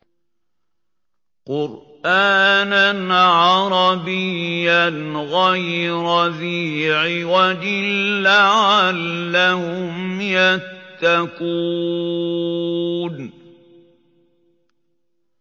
قُرْآنًا عَرَبِيًّا غَيْرَ ذِي عِوَجٍ لَّعَلَّهُمْ يَتَّقُونَ